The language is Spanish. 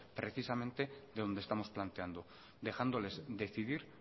precisamente de donde estamos planteando dejándoles decidir